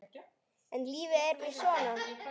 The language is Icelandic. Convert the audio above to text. En lífið er víst svona.